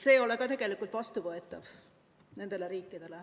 See ei ole tegelikult viimastele vastuvõetav.